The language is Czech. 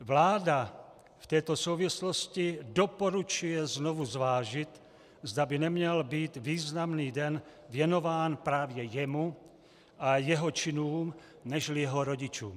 Vláda v této souvislosti doporučuje znovu zvážit, zda by neměl být významný den věnován právě jemu a jeho činům nežli jeho rodičům.